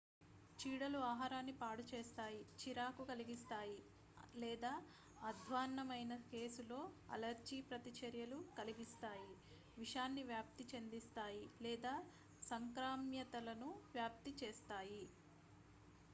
చీడలు ఆహారాన్ని పాడు చేస్తాయి చిరాకు కలిగిస్తాయి లేదా అధ్వాన్నమైన కేసులో అలెర్జీ ప్రతిచర్యలు కలిగిస్తాయి విషాన్ని వ్యాప్తి చెందిస్తాయి లేదా సంక్రామ్యతలను వ్యాప్తి చేస్తాయి